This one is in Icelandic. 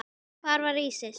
Hver var Ísis?